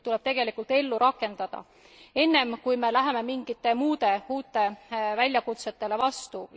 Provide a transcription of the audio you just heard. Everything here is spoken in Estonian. Need tuleb tegelikult ellu rakendada, enne kui me läheme mingitele muudele uutele väljakutsetele vastu.